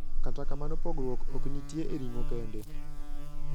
Kata kamano pogruok oknitie e ring`o kende.